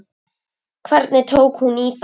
Hvernig tók hún í það?